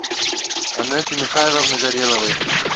анеты михайловны гореловой